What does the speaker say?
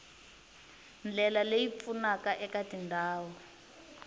ndlela leyi pfunaka eka tindhawu